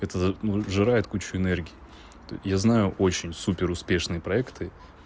это ну сжирает кучу энергии я знаю очень супер успешные проекты